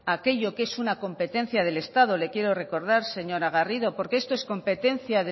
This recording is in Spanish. aquello que es una competencia del estado le quiero recordar señora garrido porque esto es competencia